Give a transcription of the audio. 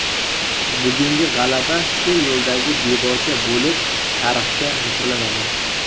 Bugungi g‘alaba shu yo‘ldagi debocha bo‘lib tarixga muhrlanadi.